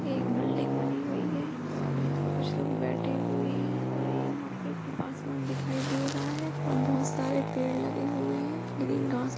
एक बिल्डिंग बनी हुई हैं और यहाँ पे कुछ लोग बैठे हुए हैं और यहाँ पे आसमान दिखाई दे रहा हैं और बहोत सारे पेड़ लगे हुए हैं ग्रीन घास--